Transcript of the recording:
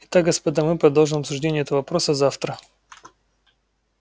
и так господа мы продолжим обсуждение этого вопроса завтра